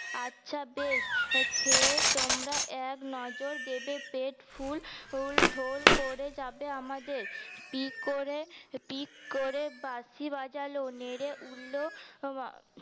আচ্ছা বেশ খেয়ে তোমরা এক নজর দেবে পেট ফুল ঢোল করে যাবে আমাদের পি করে পিক করে বাঁশি বাজাল নেড়ে উঠল